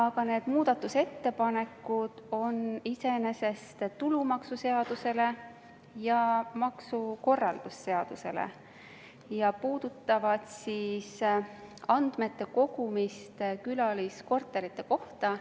Aga need ettepanekud käsitlevad iseenesest tulumaksuseadust ja maksukorralduse seadust ja puudutavad andmete kogumist külaliskorterite kohta.